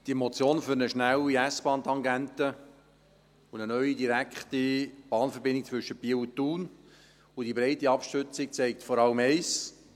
Die Motion für eine schnelle S-Bahn- tangente und eine neue, direkte Bahnverbindung zwischen Biel und Thun sowie die breite Abstützung zeigt vor allem eines: